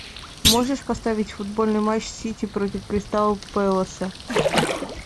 можешь поставить футбольный матч сити против кристал пэласа